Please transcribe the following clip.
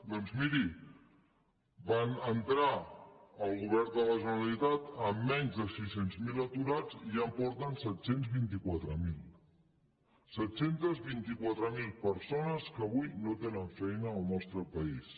doncs miri van entrar al govern de la generalitat amb menys de sis cents miler aturats i ja en porten set cents i vint quatre mil set cents i vint quatre mil persones que avui no tenen feina al nostre país